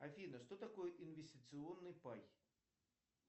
афина что такое инвестиционный пай